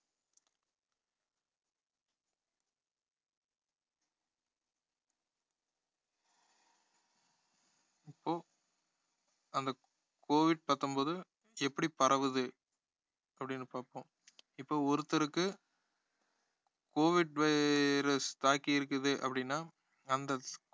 இப்போ அந்த covid பத்தொன்பது எப்படி பரவுவது அப்படின்னு பாப்போம் இப்ப ஒருத்தருக்கு covid virus தாக்கி இருக்குது அப்படின்னா அந்த